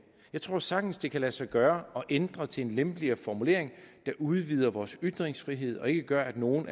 jeg tror sagtens det kan lade sig gøre at ændre til en lempeligere formulering der udvider vores ytringsfrihed og ikke gør at nogen